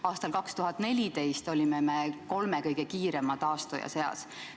Aastal 2014 olime kolme kõige kiirema taastuja seas.